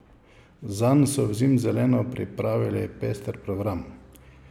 Zanj so v Zimzelenu pripravili pester program.